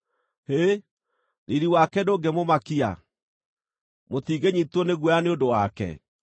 Hĩ, riiri wake ndũngĩmũmakia? Mũtingĩnyiitwo nĩ guoya nĩ ũndũ wake?